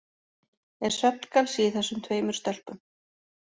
Er svefngalsi í þessum tveimur stelpum?